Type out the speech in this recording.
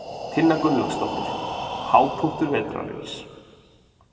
Tinna Gunnlaugsdóttir: Hápunktur vetrarins?